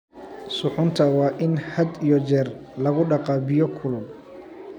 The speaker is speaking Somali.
Suxuunta waa in had iyo jeer lagu dhaqaa biyo kulul.